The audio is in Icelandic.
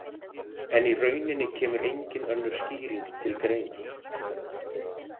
En í rauninni kemur engin önnur skýring til greina.